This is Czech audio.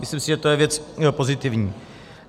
Myslím si, že to je věc pozitivní.